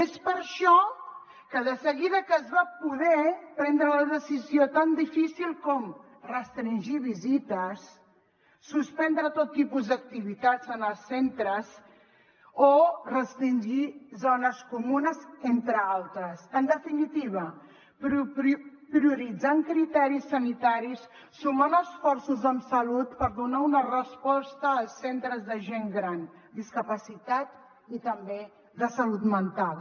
és per això que de seguida es va poder prendre la decisió tan difícil com restringir visites suspendre tot tipus d’activitats en els centres o restringir zones comunes entre altres en definitiva prioritzant criteris sanitaris sumant esforços amb salut per donar una resposta als centres de gent gran discapacitat i també de salut mental